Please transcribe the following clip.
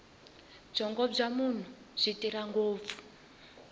byongo bya munhu byi tirha ngopfu